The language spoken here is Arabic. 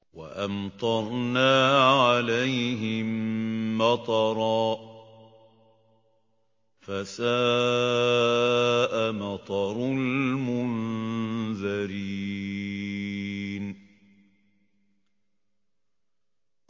وَأَمْطَرْنَا عَلَيْهِم مَّطَرًا ۖ فَسَاءَ مَطَرُ الْمُنذَرِينَ